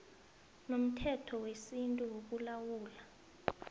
nomthetho wesintu wokulawula